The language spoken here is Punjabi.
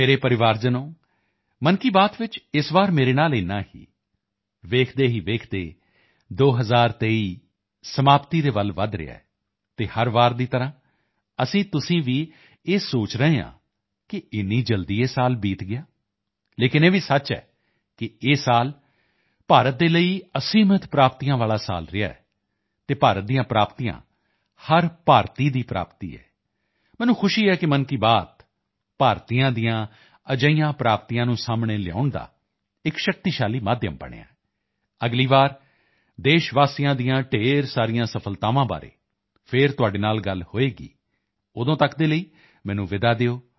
ਮੇਰੇ ਪਰਿਵਾਰਜਨੋਂ ਮਨ ਕੀ ਬਾਤ ਵਿੱਚ ਇਸ ਵਾਰ ਮੇਰੇ ਨਾਲ ਇਤਨਾ ਹੀ ਦੇਖਦੇ ਹੀ ਦੇਖਦੇ 2023 ਸਮਾਪਤੀ ਦੇ ਵੱਲ ਵਧ ਰਿਹਾ ਹੈ ਅਤੇ ਹਰ ਵਾਰ ਦੀ ਤਰ੍ਹਾਂ ਅਸੀਂਤੁਸੀਂ ਇਹ ਭੀ ਸੋਚ ਰਹੇ ਹਾਂ ਕਿ ਅਰੇ ਇਤਨੀ ਜਲਦੀ ਇਹ ਸਾਲ ਬੀਤ ਗਿਆ ਲੇਕਿਨ ਇਹ ਭੀ ਸੱਚ ਹੈ ਕਿ ਇਹ ਸਾਲ ਭਾਰਤ ਦੇ ਲਈ ਅਸੀਮ ਉਪਲਬਧੀਆਂ ਵਾਲਾ ਸਾਲ ਰਿਹਾ ਹੈ ਅਤੇ ਭਾਰਤ ਦੀਆਂ ਉਪਲਬਧੀਆਂ ਹਰ ਭਾਰਤੀ ਦੀ ਉਪਲਬਧੀ ਹੈ ਮੈਨੂੰ ਖੁਸ਼ੀ ਹੈ ਕਿ ਮਨ ਕੀ ਬਾਤ ਭਾਰਤੀਆਂ ਦੀਆਂ ਅਜਿਹੀਆਂ ਉਪਲਬਧੀਆਂ ਨੂੰ ਸਾਹਮਣੇ ਲਿਆਉਣ ਦਾ ਇੱਕ ਸਸ਼ਕਤ ਮਾਧਿਅਮ ਬਣਿਆ ਹੈ ਅਗਲੀ ਵਾਰ ਦੇਸ਼ਵਾਸੀਆਂ ਦੀਆਂ ਢੇਰ ਸਾਰੀਆਂ ਸਫ਼ਲਤਾਵਾਂ ਬਾਰੇ ਫਿਰ ਤੁਹਾਡੇ ਨਾਲ ਗੱਲ ਹੋਵੇਗੀ ਤਦ ਤੱਕ ਦੇ ਲਈ ਮੈਨੂੰ ਵਿਦਾ ਦਿਓ